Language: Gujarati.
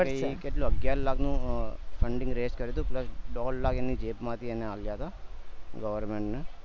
ઈ કેટલું અગ્યાર લાખ નું funding raise કર્યું હતું plus દોઢ લાખ એને જેબ માંથી એને આલ્યા હતા government ને